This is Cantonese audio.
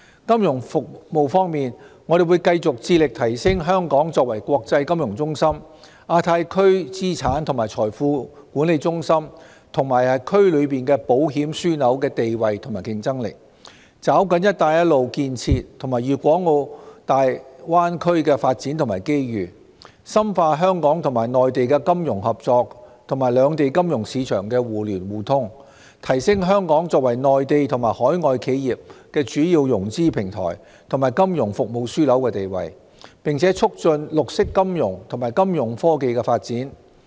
金融服務方面，我們會繼續致力提升香港作為國際金融中心、亞太區資產及財富管理中心，以及區內保險樞紐的地位和競爭力，抓緊"一帶一路"建設和粵港澳大灣區的發展機遇，深化香港與內地的金融合作及兩地金融市場的互聯互通，提升香港作為內地及海外企業的主要融資平台及金融服務樞紐的地位，並促進綠色金融及金融科技的發展。